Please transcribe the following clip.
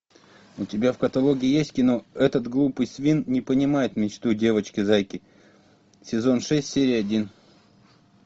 у тебя в каталоге есть кино этот глупый свин не понимает мечту девочки зайки сезон шесть серия один